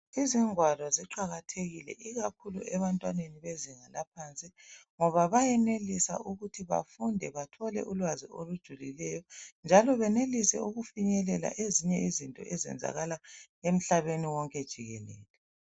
Izingwalo ziqakathekile ikakhulu ebantwaneni bezinga laphansi ngoba bayenelisa ukuthi bafunda bathole ulwazi olijilulileyo njalo benelise ukufinyelela ezinye izinto zenzakala emhlabeni wonke jikelele.